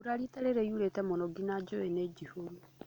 Mbura rita rĩrĩ yurĩte mũno nginya njũĩ nĩ njihorũ